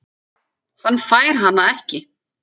Hann fær hana ekki.